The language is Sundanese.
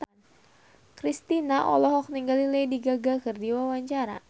Kristina olohok ningali Lady Gaga keur diwawancara